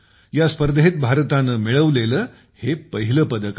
यास्पर्धेत भारताने मिळवलेले हे पहिले पदक आहे